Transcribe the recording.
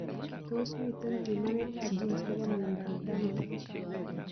Tos mitei pimanetab genes nebo miondop danon?